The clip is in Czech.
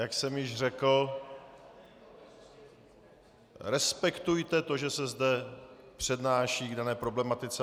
Jak jsem již řekl, respektujte to, že se zde přednáší k dané problematice.